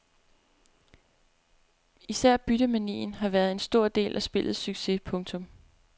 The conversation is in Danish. Især byttemanien har været en stor del af spillets succes. punktum